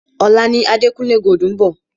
Ọ̀la ni Adekunle Gold ń bọ̀.